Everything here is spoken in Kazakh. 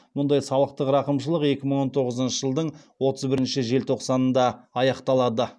мұндай салықтық рақымшылық екі мың он тоғызыншы жылдың отыз бірінші желтоқсанында аяқталады